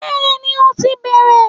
Béeni, ó ti bẹ̀rẹ̀